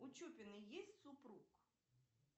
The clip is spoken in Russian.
у чупиной есть супруг